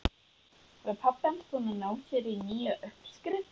Var pabbi hans búinn að ná sér í nýja uppskrift?